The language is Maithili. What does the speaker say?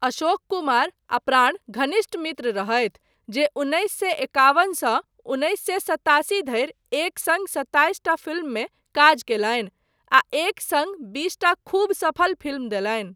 अशोक कुमार आ प्राण घनिष्ठ मित्र रहथि जे उन्नैस सए एकावन सँ उन्नैस सए सत्तासी धरि एक सङ्ग सत्ताईस टा फिल्ममे काज कयलनि आ एक सङ्ग बीसटा खूब सफल फिल्म देलनि।